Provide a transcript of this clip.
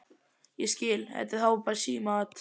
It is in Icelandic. Ég skil. þetta er þá símaat!